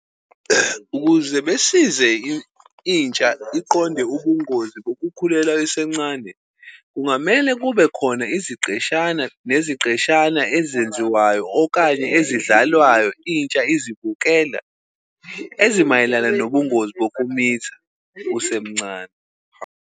Ukuze besize intsha iqonde ubungozi kokukhulelwa isencane, kungamele kube khona iziqeshana neziqeshana ezenziwayo okanye ezidlalwayo intsha izibukela, ezimayelana nobungozi bokumitha usemncane.